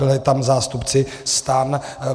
Byli tam zástupci STAN.